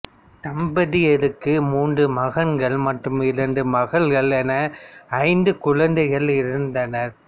தம்பதியருக்கு மூன்று மகன்கள் மற்றும் இரண்டு மகள்கள் என ஐந்து குழந்தைகள் இருந்தனர்